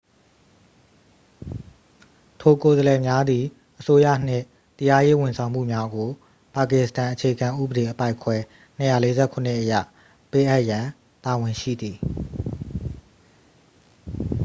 ထိုကိုယ်စားလှယ်များသည် အစိုးရနှင့် တရားရေးဝန်ဆောင်မှုများကို ပါကစ္စတန်အခြေခံဥပ‌ဒေ အပိုဒ်ခွဲ ၂၄၇ အရ ပေးအပ်ရန် တာဝန်ရှိသည်။